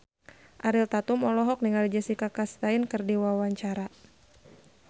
Ariel Tatum olohok ningali Jessica Chastain keur diwawancara